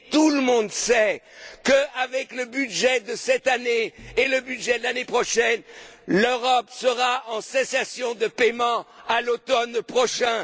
Or, tout le monde sait qu'avec le budget de cette année et le budget de l'année prochaine, l'Europe sera en cessation de paiement à l'automne prochain